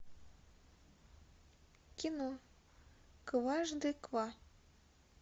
кино кважды ква